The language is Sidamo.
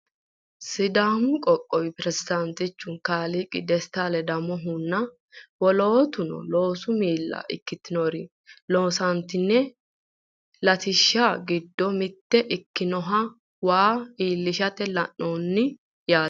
sidaamu qoqowi piresidaantichi kalaa dasiti ledamohunna wolootuno loosu miilla ikkitinori loosantini latishshi giddo mitto ikkinoha wayi illisha la'anni no yaate.